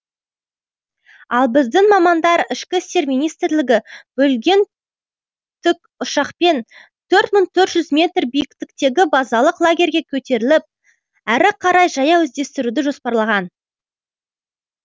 ал біздің мамандар ішкі істер министрлігі бөлген тікұшақпен төрт мың төрт жүз метр биіктіктегі базалық лагерьге көтеріліп әрі қарай жаяу іздестіруді жоспарлаған